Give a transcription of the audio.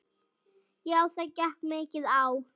Já það gekk mikið á.